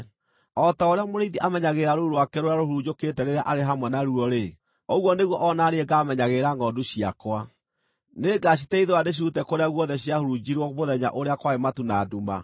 O ta ũrĩa mũrĩithi amenyagĩrĩra rũũru rwake rũrĩa rũhurunjũkĩte rĩrĩa arĩ hamwe naruo-rĩ, ũguo nĩguo o na niĩ ngaamenyagĩrĩra ngʼondu ciakwa. Nĩngaciteithũra ndĩcirute kũrĩa guothe ciahurunjirwo mũthenya ũrĩa kwarĩ matu na nduma.